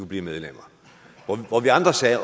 blive medlem vi andre sagde